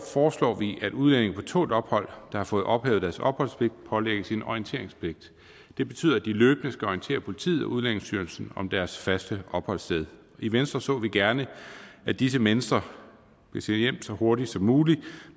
foreslår vi at udlændinge på tålt ophold der har fået ophævet deres opholdspligt pålægges en orienteringspligt det betyder at de løbende skal orientere politiet og udlændingestyrelsen om deres faste opholdssted i venstre så vi gerne at disse mennesker blev sendt hjem så hurtigt som muligt